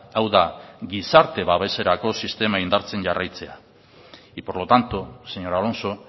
hau da gizarte babeserako sistema indartzen jarraitzea y por lo tanto señor alonso